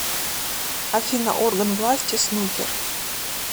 афина орган власти снукер